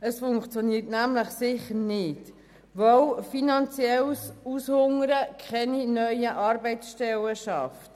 Es funktioniert nämlich sicher nicht, weil finanzielles Aushungern keine neuen Arbeitsstellen schafft.